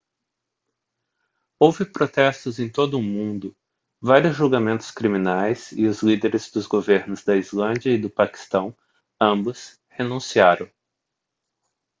houve protestos em todo o mundo vários julgamentos criminais e os líderes dos governos da islândia e do paquistão ambos renunciaram